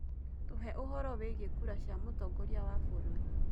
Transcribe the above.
tuheũhoro wĩĩgĩe kura cĩa mutongoria wa bururi